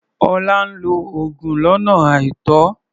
Ọlá ń lo oògùn lọ́nà àìtọ́.